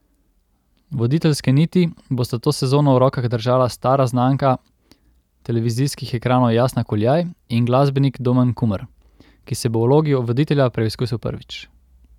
Voditeljske niti bosta to sezono v rokah držala stara znanka televizijskih ekranov Jasna Kuljaj in glasbenik Domen Kumer, ki se bo v vlogi voditelja preizkusil prvič.